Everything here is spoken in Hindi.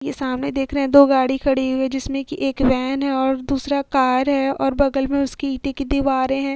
ये सामने देख रहे हैं दो गाड़ी खड़ी हुई है जिसमें की एक वैन और दूसरा कार है और बगल में उसकी इटें की दीवारे हैं।